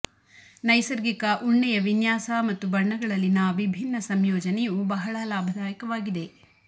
ನೈಸರ್ಗಿಕ ಉಣ್ಣೆಯ ವಿನ್ಯಾಸ ಮತ್ತು ಬಣ್ಣಗಳಲ್ಲಿನ ವಿಭಿನ್ನ ಸಂಯೋಜನೆಯು ಬಹಳ ಲಾಭದಾಯಕವಾಗಿದೆ